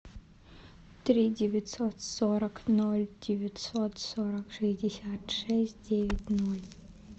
три девятьсот сорок ноль девятьсот сорок шестьдесят шесть девять ноль